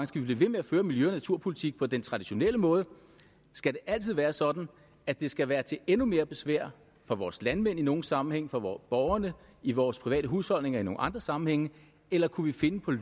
skal blive ved med at føre miljø og naturpolitik på den traditionelle måde skal det altid være sådan at det skal være til endnu mere besvær for vores landmænd i nogle sammenhænge for borgerne i vores private husholdninger i nogle andre sammenhænge eller kunne vi finde